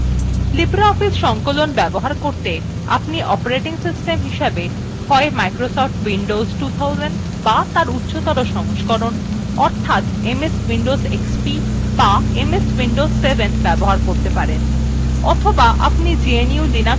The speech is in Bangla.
libreoffice সংকলন ব্যবহার করতে আপনি operating system হিসাবে হয় microsoft windows 2000 to তার উচ্চতর সংস্করণ অর্থাৎ ms windows xp to ms windows 7 ব্যবহার করতে পারেন অথবা আপনি gnu/linux ব্যবহার করতে পারেন